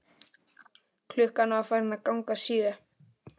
Klukkan var farin að ganga sjö.